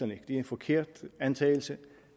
det er en forkert antagelse